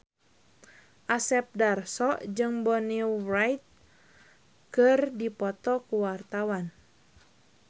Asep Darso jeung Bonnie Wright keur dipoto ku wartawan